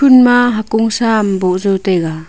ema hakong sah am boh jao taiga.